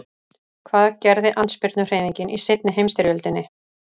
Hvað gerði andspyrnuhreyfingin í seinni heimsstyrjöldinni?